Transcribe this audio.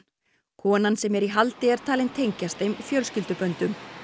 konan sem er í haldi er talin tengjast þeim fjölskylduböndum